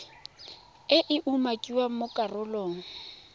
e e umakiwang mo karolong